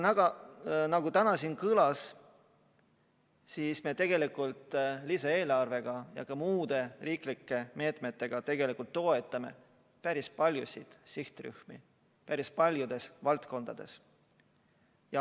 Aga nagu täna siin kõlas, me tegelikult lisaeelarvega ja ka muude riiklike meetmetega toetame päris paljusid sihtrühmi päris paljudes valdkondades.